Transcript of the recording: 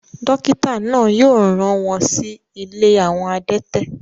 dókítà náà yóò rán wọn si ilé àwọn adẹ́tẹ̀